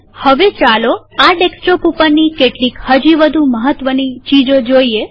હવે ચાલો આ ડેસ્કટોપ ઉપરની કેટલીક હજી વધુ મહત્વની ચીજો જોઈએ